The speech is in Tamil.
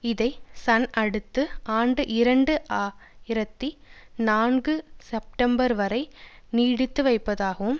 இதை சன் அடுத்த ஆண்டு இரண்டு ஆயிரத்தி நான்கு செப்டம்பர் வரை நீடித்து வைப்பதாகவும்